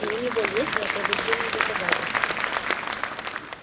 и у него есть неопровержимые доказательства